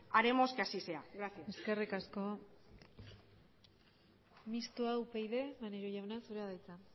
haremos que así sea gracias eskerrik asko mistoa upyd maneiro jauna zurea da hitza